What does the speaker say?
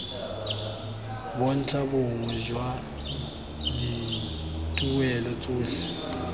bontlha bongwe jwa dituelo tsotlhe